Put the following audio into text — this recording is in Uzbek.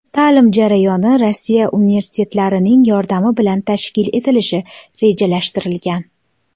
Ta’lim jarayoni Rossiya universitetlarining yordami bilan tashkil etilishi rejalashtirilgan.